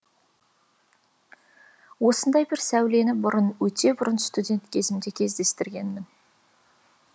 осындай бір сәулені бұрын өтебұрын студент кезімде кездестіргенмін